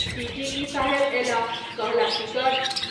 TTE. साहेब अयलाह कहलाह टिकट।